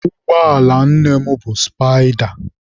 Ụgbọala nne mụ bụ sụpaịda.